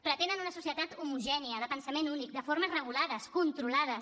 pretenen una societat homogènia de pensament únic de formes regulades controlades